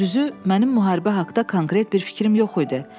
Düzü, mənim müharibə haqda konkret bir fikrim yox idi.